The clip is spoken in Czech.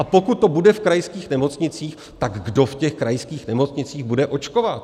A pokud to bude v krajských nemocnicích, tak kdo v těch krajských nemocnicích bude očkovat?